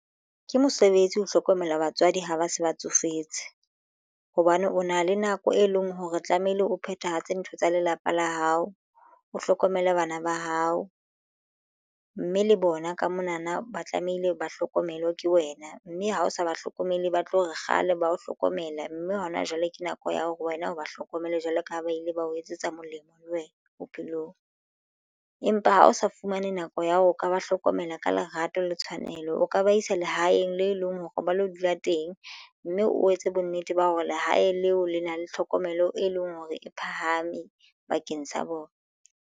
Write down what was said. Ke mosebetsi ho hlokomela batswadi ha ba se ba tsofetse hobane o na le nako e leng hore tlamehile o phethahatse ntho tsa lelapa la hao o hlokomele bana ba hao, mme le bona ka mona na ba tlamehile ba hlokomelwe ke wena mme ha o sa ba hlokomele ba tlo re kgale ba ho hlokomela mme ha hona jwale ke nako ya hore wena o ba hlokomele jwalo ka ha ba ile ba o etsetsa molemo le wena bophelong. Empa ha o sa fumane nako ya ho ka ba hlokomela ka lerato le tshwanelo o ka ba isa lehaeng le leng hore ba lo dula teng mme o etse bonnete ba hore lehae leo le na le tlhokomelo e leng hore e phahame bakeng sa bona.